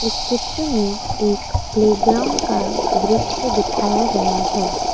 इस चित्र में एक प्लेग्राउंड का दृश्य दिखाया गया है।